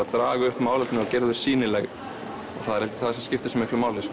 að draga upp málefni og gera þau sýnileg og það er held ég það sem skiptir svo miklu máli